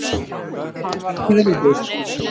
Hann var hrærður.